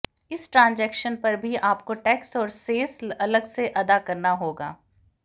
इस ट्रांजैक्शन पर भी आपको टैक्स और सेस अलग से अदा करना होगा